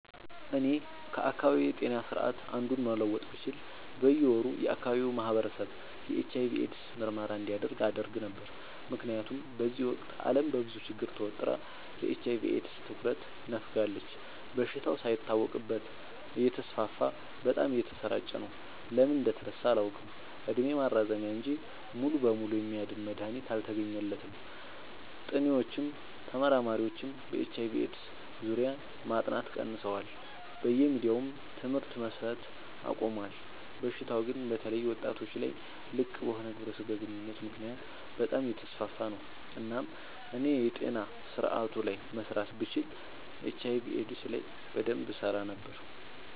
እኔ ከአካባቢዬ ጤና ስርዓት አንዱን መለወጥ ብችል በየ ወሩ የአካባቢው ማህበረሰብ የኤች/አይ/ቪ ኤድስ ምርመራ እንዲያደርግ አደረግ ነበር። ምክንያቱም በዚህ ወቅት አለም በብዙ ችግር ተወጥራ ለኤች/አይ/ቪ ኤድስ ትኩረት ነፋጋለች። በሽታው ሳይታወቅበት እተስፋፋ በጣም እየተሰራጨ ነው። ለምን እንደተረሳ አላውቅ እድሜ ማራዘሚያ እንጂ ሙሉ በሙሉ የሚያድን መድሀኒት አልተገኘለትም ጥኒዎችም ተመራማሪዎችም በኤች/አይ/ቪ ኤድስ ዙሪያ ማጥናት ቀንሰዋል በየሚዲያውም ትምህርት መሰት አቆሞል። በሽታው ግን በተለይ ወጣቶች ላይ ልቅበሆነ ግብረ ስጋ ግንኙነት ምክንያት በጣም አየተስፋፋ ነው። እናም እኔ የጤና ስረአቱ ላይ መስራት ብችል ኤች/አይ/ቪ ኤድስ ላይ በደንብ እሰራ ነበር።